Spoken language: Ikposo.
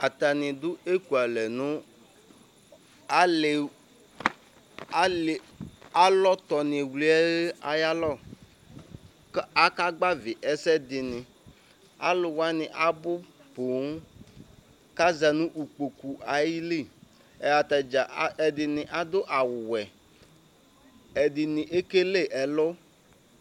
Atani dʋ ekʋale nʋ alɔtɔni wli yɛ ayʋ alɔ kʋ aka gbavi ɛsɛdini alʋ wani abʋ poo kaza nʋ kpokʋ ayili ɛdini adʋ awʋwɛ ɛdini ekele ɛlʋ